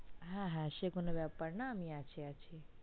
হ্যা হ্যা সে কোনো ব্যাপার না আমি আছি